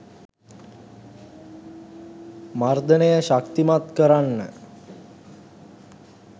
මර්දනය ශක්තිමත් කරන්න